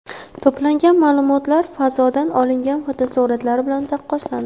To‘plangan ma’lumotlar fazodan olingan fotosuratlar bilan taqqoslandi.